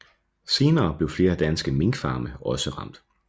Senere blev flere danske minkfarme også ramt